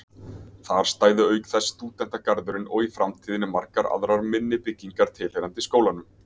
Þar stæði auk þess stúdentagarðurinn og í framtíðinni margar aðrar minni byggingar tilheyrandi skólanum.